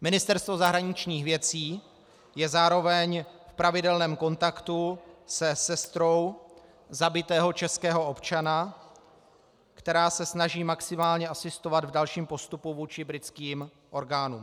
Ministerstvo zahraničních věcí je zároveň v pravidelném kontaktu se sestrou zabitého českého občana, která se snaží maximálně asistovat v dalším postupu vůči britským orgánům.